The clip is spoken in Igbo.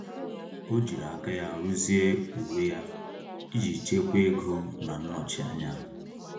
O jiri aka ya ruzie uwe ya iji chekwaa ego na nnọchi anya.